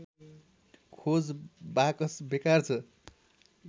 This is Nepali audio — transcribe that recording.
खोज बाकस बेकार छ